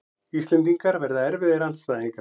Íslendingar verða erfiðir andstæðingar